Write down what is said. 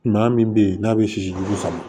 Maa min bɛ yen n'a bɛ sisi jugu sama